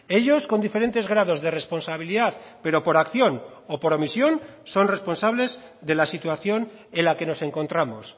ellos con diferentes grados de responsabilidad pero por acción o por omisión son responsables de la situación en la que nos encontramos